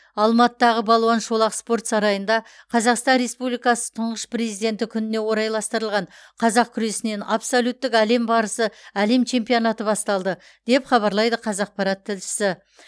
алматыдағы балуан шолақ спорт сарайында қазақстан республикасы тұңғыш президенті күніне орайластырылған қазақ күресінен абсолюттік әлем барысы әлем чемпионаты басталды деп хабарлайды қазақпарат тілшісі